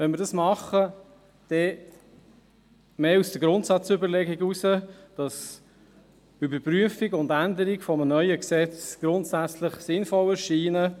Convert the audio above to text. Wenn wir dies tun, dann mehr aufgrund der Grundsatzüberlegung, dass Überprüfung und Änderung eines neuen Gesetzes grundsätzlich sinnvoll erscheinen.